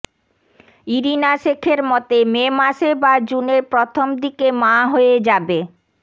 Irina শেখের মতে May মাসে বা জুনের প্রথম দিকে মা হয়ে যাবে